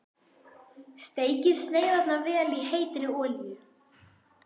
Steikið sneiðarnar í vel heitri olíu.